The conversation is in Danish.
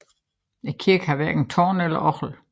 Kirken har hverken tårn eller orgel